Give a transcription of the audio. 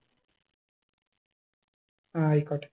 ആയിക്കോട്ടെ